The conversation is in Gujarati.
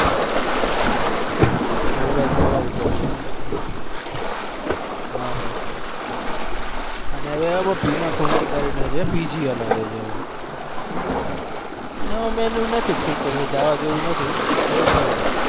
mobile પડવા ઉપર છે. હા ભાઈ અને હવે એમાં ભીમા કરીને છે PG હલાવે છે આમ એમાં નથી ઠીક કેમ કે જાવ જેવું નથી એ પયડું.